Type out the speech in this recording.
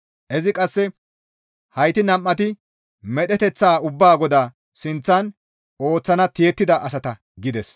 Izi qasseka, «Hayti nam7ati medheteththa ubbaa Goda sinththan ooththana tiyettida asata» gides.